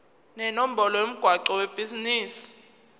nenombolo yomgwaqo webhizinisi